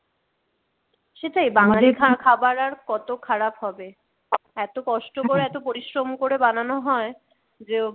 সেটাই বাঙালির খাবার আর কত খারাপ হবে? এত কষ্ট করে এত পরিশ্রম করে বানানো হয় যে